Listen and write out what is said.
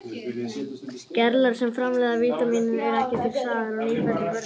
Gerlar sem framleiða vítamínið eru ekki til staðar í nýfæddum börnum.